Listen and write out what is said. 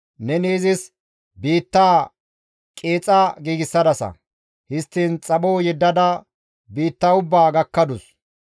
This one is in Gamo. Neni izis biittaa qeexa giigsadasa; histtiin xapho yeddada biitta ubbaa gakkadus.